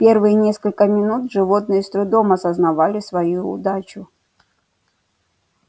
первые несколько минут животные с трудом осознавали свою удачу